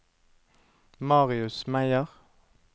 Marius Meyer